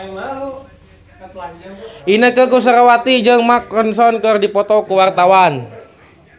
Inneke Koesherawati jeung Mark Ronson keur dipoto ku wartawan